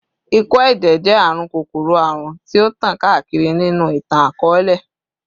Ikọ-ẹjẹ jẹ arun kokoro-arun ti o tan kaakiri ninu itan-akọọlẹ